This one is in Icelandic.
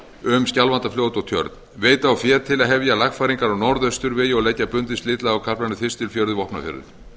um skjálfandafljót og tjörn veita á fé til að hefja lagfæringar á norðausturvegi og leggja bundið slitlag á kaflann þistilfjörður vopnafjörður